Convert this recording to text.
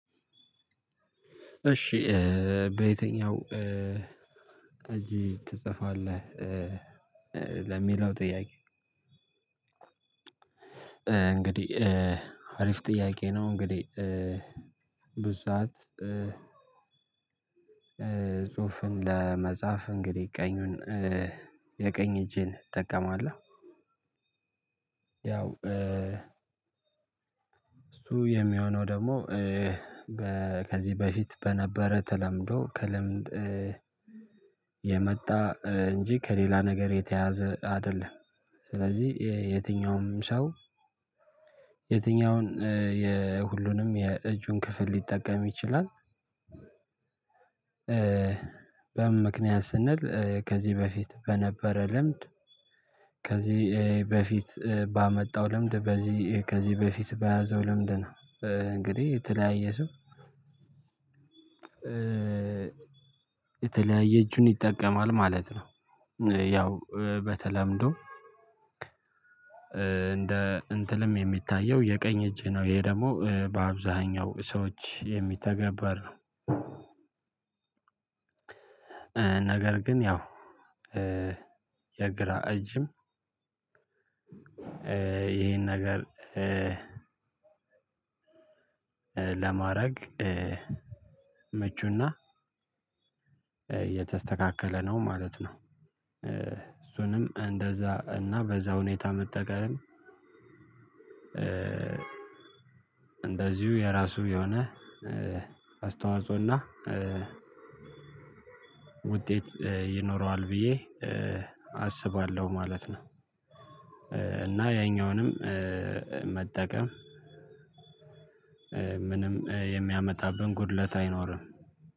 እሺ በየትኛው እጅህ ትጽፋለህ ለሚለው ጥያቄ እንግዲህ አሪፍ ጥያቄ ነው። እንግዲህ ብዙ ሰዓት ጽሁፍን ለመጻፍ እንግዲህ ቀኙን የቀኝ እጄን እጠቀማለሁ ያው እሱ የሚሆነው ደግሞ በ ከዚህ በፊት በነበረ ተለምዶ ከልምድ የመጣ እንጂ ከሌላ ነገር የተያያዘ አይደለም። ስለዚህ የትኛውም ሰው የትኛውን የሁሉንም የእጁን ክፍል ሊጠቀም ይችላል። በምን ምክንያት ስንል ከዚህ በፊት በነበረ ልምድ ከዚህ በፊት ባመጣው ልምድ በዚህ ከዚህ በፊት በያዘው ልምድ ነው እንግዲህ የተለያየ ሰው የተለያየ እጁን ይጠቀማል ማለት ነው። ያው በተለምዶ እንደ እንትንም የሚታየው የቀኝ እጅ ነው ይሄ ደግሞ በአብዛኛው ሰዎች የሚተገበር ነው። ነገር ግን ያው የግራ እጅም ይሄን ነገር ለማድረግ ምቹና የተስተካከለ ነው ማለት ነው። እሱንም እንደዛ እና በዛ ሁኔታ መጠቀም እንደዚሁ የራሱ የሆነ አስተዋጽኦና ውጤት ይኖረዋል ብዬ አስባለሁ ማለት ነው። እና ያኛውንም መጠቀም ምንም የሚያመጣብን ጉድለት አይኖርም።